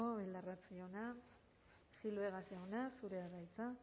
bildarratz jauna gil vegas jauna zurea da hitza